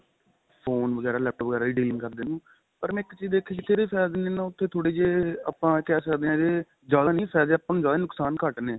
phone ਵਗੈਰਾ laptop ਵਗੈਰਾ ਇਹ dealing ਕਰਦੇ ਨੂੰ ਪਰ ਮੈਂ ਇੱਕ ਚੀਜ ਦੇਖੀ ਜਿੱਥੇ ਇੱਦੇ ਫਾਇਦੇ ਨੇ ਨਾ ਉੱਥੇ ਥੋੜੇ ਜੇ ਆਪਾਂ ਕਹਿ ਸਕਦੇ ਆ ਇਹਦੇ ਜਿਆਦਾ ਨਹੀਂ ਫਾਇਦੇ ਆਪਾਂ ਨੂੰ ਜਿਆਦਾ ਨੇ ਨੁਕਸਾਨ ਘੱਟ ਨੇ